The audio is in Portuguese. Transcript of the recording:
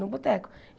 No boteco.